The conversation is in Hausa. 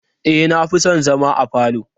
E, na fi son zama a falo.